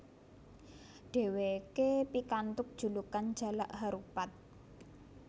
Dheweke pikantuk julukan Jalak Harupat